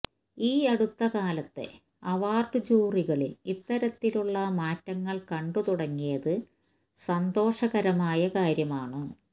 ഈ അടുത്ത കാലത്തെ അവാർഡ് ജൂറികളിൽ ഇത്തരത്തിലുള്ള മാറ്റങ്ങൾ കണ്ട് തുടങ്ങിത് സന്തോഷകരമായ കാര്യമാണ്